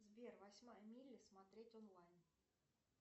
сбер восьмая миля смотреть онлайн